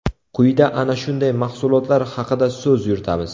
Quyida ana shunday mahsulotlar haqida so‘z yuritamiz.